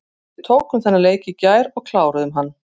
Við tókum þennan leik í gær og kláruðum hann.